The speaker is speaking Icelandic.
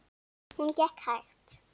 Hún gekk hægt.